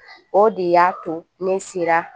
O de y'a to ne sera